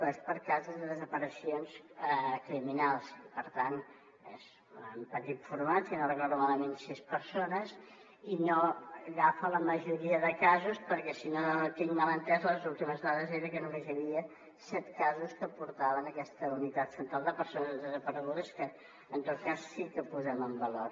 és per a casos de desaparicions criminals i per tant és en petit format si no recordo malament sis persones i no agafa la majoria de casos perquè si no ho tinc mal entès les últimes dades eren que només hi havia set casos que es portaven en aquesta unitat central de persones desaparegudes que en tot cas sí que posem en valor